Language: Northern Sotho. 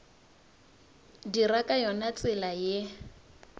dira ka yona tsela ye